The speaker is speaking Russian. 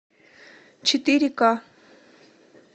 четыре ка